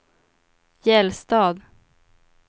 Gällstad